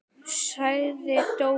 sagði Dóri.